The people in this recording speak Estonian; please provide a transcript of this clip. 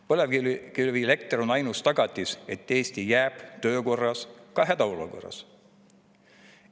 Põlevkivielekter on ainus tagatis, et Eesti jääb töökorda ka hädaolukorras.